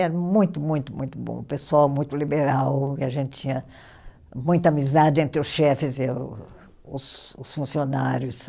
Era muito, muito muito bom. Pessoal, muito liberal, e a gente tinha muita amizade entre os chefes e o os os funcionários.